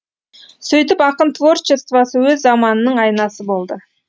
сөйтіп ақын творчествосы өз заманының айнасы болды